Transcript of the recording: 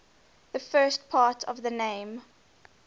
the first part of the name